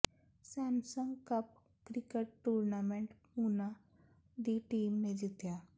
Samsung cup cricket tournament Bhuna ਦੀ team ਨੇ ਜਿੱਤਿਆ